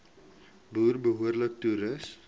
boere behoorlik toerus